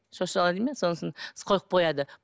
шошала дей ме сонысын қойып қояды